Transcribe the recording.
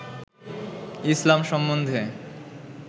ইসলাম সম্বন্ধে